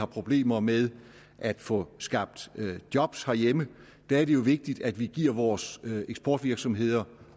problemer med at få skabt job hjemme er det jo vigtigt at vi giver vores eksportvirksomheder